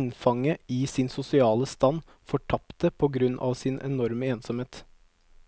innfanget i sin sosiale stand, fortapte på grunn av sin enorme ensomhet.